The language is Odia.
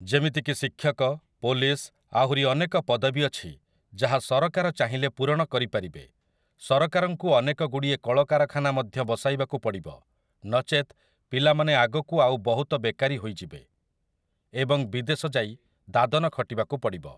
ଯେମିତିକି ଶିକ୍ଷକ, ପୋଲିସ୍‌, ଆହୁରି ଅନେକ ପଦବୀ ଅଛି ଯାହା ସରକାର ଚାହିଁଲେ ପୂରଣ କରିପାରିବେ । ସରକାରଙ୍କୁ ଅନେକଗୁଡ଼ିଏ କଳକାରଖାନା ମଧ୍ୟ ବସାଇବାକୁ ପଡ଼ିବ, ନଚେତ୍, ପିଲାମାନେ ଆଗକୁ ଆଉ ବହୁତ ବେକାରୀ ହୋଇଯିବେ ଏବଂ ବିଦେଶ ଯାଇ ଦାଦନ ଖଟିବାକୁ ପଡ଼ିବ ।